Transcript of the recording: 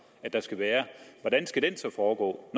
at der skal være skal foregå